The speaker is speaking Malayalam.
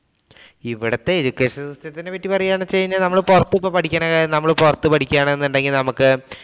ഇവിടെത്തെ education system ത്തിനെ പറ്റി പറയുകയാണെന്ന് വച്ച് കഴിഞ്ഞാല്‍ നമ്മള് പൊറത്ത് ഇപ്പം പഠിക്കണേ നമ്മള്‍ പൊറത്ത് പഠിക്കുകയാണെന്നുണ്ടെങ്കില്‍ നമുക്ക്